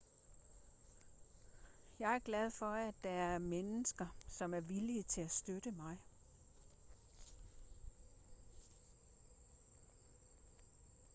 jeg er glad for at der er mennesker som er villige til at støtte mig